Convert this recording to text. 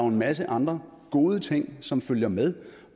en masse andre gode ting som følger med